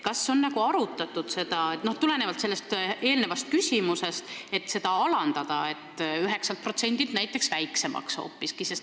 Kas on arutatud, et võiks käibemaksu alandada, näiteks 9%-lt hoopiski väiksemaks?